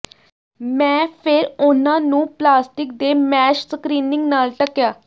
ਮੈਂ ਫਿਰ ਉਹਨਾਂ ਨੂੰ ਪਲਾਸਟਿਕ ਦੇ ਮੈਸ਼ ਸਕ੍ਰੀਨਿੰਗ ਨਾਲ ਢਕਿਆ